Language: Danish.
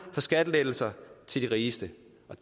for skattelettelser til de rigeste